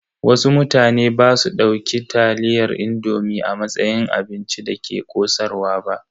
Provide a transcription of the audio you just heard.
Wasu mutane basu dauki taliyar indomi a matsayin abincin da ke ƙosarwa ba.